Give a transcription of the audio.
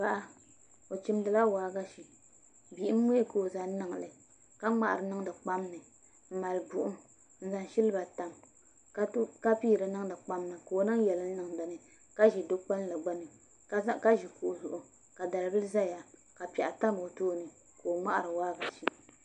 Paɣa o chimdila waagashi bihim mii ka o zaŋ niŋli ka ŋmahari niŋdi kpam ni n mali buɣum n zaŋ silba tam ka piiri niŋdi kpam ni ka o niŋ yɛlim niŋ dinni ka ʒi du kpulli gbuni ka ʒi kuɣu zuɣu ka dalbili ʒɛya ka o ŋmahari waagashe